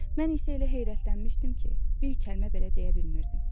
Mən isə elə heyrətlənmişdim ki, bir kəlmə belə deyə bilmirdim.